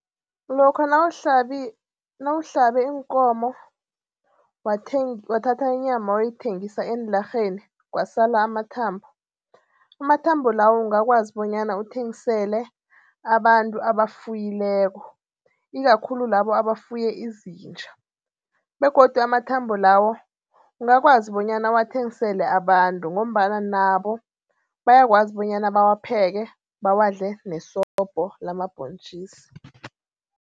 Lokha nawuhlabe iinkomo wathatha inyama wayoyithengisa eenlarheni kwasala amathambo. Amathambo lawo ungakwazi bonyana uthengisele abantu abafuyileko ikakhulu labo abafuye izinja begodu amathambo lawo ungakwazi bonyana uwathengisele abantu ngombana nabo bayakwazi bonyana bawapheke bawadle nesobho lamabhontjisi.